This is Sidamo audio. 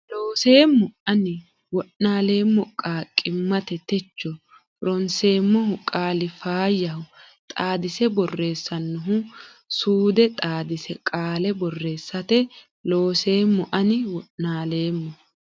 Looseemmo Ani wo naaleemmo qaaqq immate techo ronseemmohu qaali Faayyaho Xaadise borressannohu suude xaadise qaale borreessate Looseemmo Ani wo naaleemmo.